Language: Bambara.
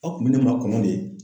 A kun be ne makɔnɔ de.